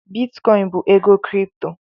Bitikoin bụ ego Kripto